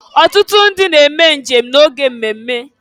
Ọtụtụ ndị na eme njem na-oge mmemme.